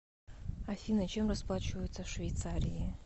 афина чем расплачиваются в швейцарии